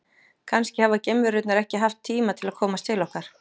Kannski hafa geimverurnar ekki haft tíma til að komast til okkar.